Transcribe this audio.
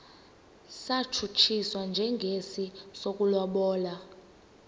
satshutshiswa njengesi sokulobola